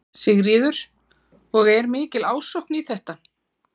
Sigríður: Og er mikil ásókn í þetta?